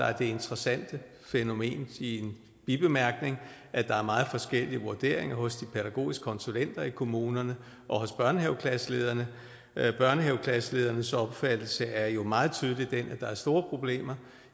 er det interessante fænomen i en bibemærkning at der er meget forskellige vurderinger hos de pædagogiske konsulenter i kommunerne og hos børnehaveklasselederne børnehaveklasseledernes opfattelse er jo meget tydeligt den at der er store problemer